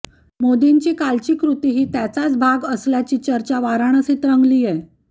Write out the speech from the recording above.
मोदींची कालची कृती ही त्याचाच भाग असल्याची चर्चा वाराणसीत रंगलीय